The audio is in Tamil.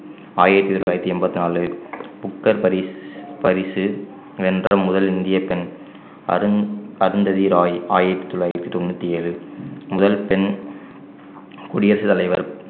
ஆயிரத்தி தொள்ளாயிரத்தி எண்பத்தி நாலு புக்கர் பரிசு பரிசு வென்ற முதல் இந்திய பெண் அருண் அருந்ததி ராய் ஆயிரத்தி தொள்ளாயிரத்தி தொண்ணூத்தி ஏழு முதல் பெண் குடியரசுத் தலைவர்